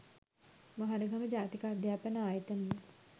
මහරගම ජාතික අධ්‍යාපන ආයතනයේ